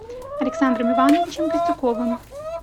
александром ивановичем костюковым